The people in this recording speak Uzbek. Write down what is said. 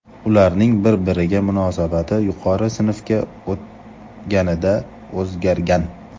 Ularning bir-biriga munosabati yuqori sinfga o‘tganida o‘zgargan.